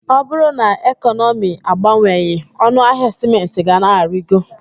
Ọ bụrụ na ekọnọmi agbanweghị, ọnụ ahịa sịmentị ga na-arigo.